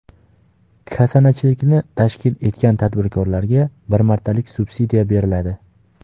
Kasanachilikni tashkil etgan tadbirkorlarga bir martalik subsidiya beriladi.